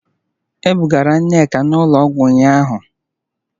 E bugara Nneka n'ụlọọgwụ ụnyahụ